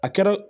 A kɛra